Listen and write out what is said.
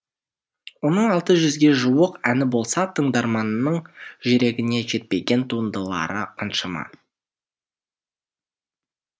оның алты жүзге жуық әні болса тыңдарманның жүрегіне жетпеген туындылары қаншама